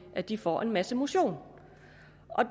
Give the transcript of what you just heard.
at de får en masse motion